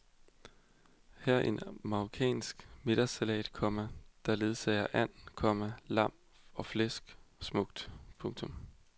Her en marokkansk middagssalat, komma der ledsager and, komma lam og flæsk smukt. punktum